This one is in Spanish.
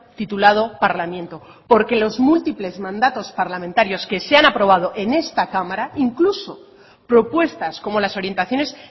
titulado parlamiento porque los múltiples mandatos parlamentarios que se han aprobado en esta cámara incluso propuestas como las orientaciones